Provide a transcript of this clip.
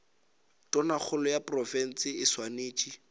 tonakgolo ya profense e swanetše